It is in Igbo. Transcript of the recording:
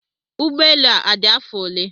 Ụgbọelu a odi afọ ole?